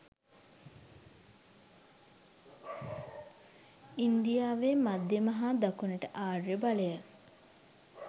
ඉන්දියාවේ මධ්‍යම හා දකුණට ආර්ය බලය